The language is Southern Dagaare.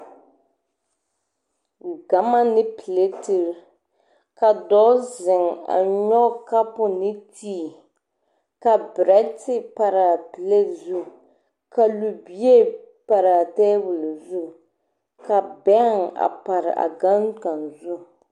Gama ne pɛleteri la pare a boma zu ka dɔɔ zeŋ a nyɔge kampuu tēē ne kampuo a de berɛ te pare a gbɛɛ zu ka libie pare a tabuli zu ka bɛŋ pare a gane kaŋ zu.